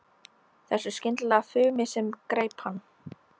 Þessu skyndilega fumi sem greip hann.